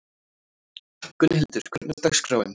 Gunnhildur, hvernig er dagskráin?